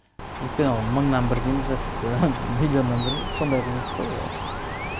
өйткені ол мыңнан бір дейміз бе тіпті миллионнан бір сондай құбылыс қой і